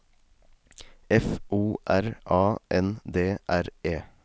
F O R A N D R E